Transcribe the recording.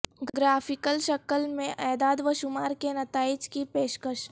graphical شکل میں اعداد و شمار کے نتائج کی پیشکش